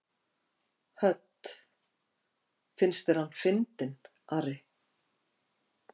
Hödd: Finnst þér hann fyndinn, Ari?